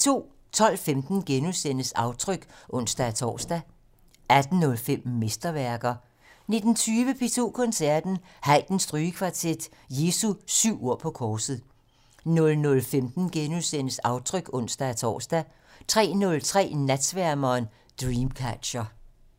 12:15: Aftryk *(ons-tor) 18:05: Mesterværker 19:20: P2 Koncerten - Haydn-strygekvartet: Jesu syv ord på korset 00:15: Aftryk *(ons-tor) 03:03: Natsværmeren - Dreamcatcher